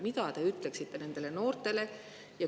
Mida te ütleksite nendele noortele?